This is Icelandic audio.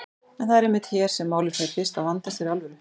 En það er einmitt hér sem málið fer fyrst að vandast fyrir alvöru.